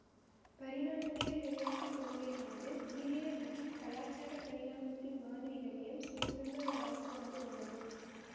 பரிணாமவியல் விளையாட்டு கொள்கையானது உயிரியல் மற்றும் கலாச்சார பரிணாமத்தின் மாதிரிகளையும் சேர்த்துள்ள ஒரு அம்சமாக உள்ளது